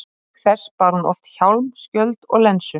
Auk þess bar hún oft hjálm, skjöld og lensu.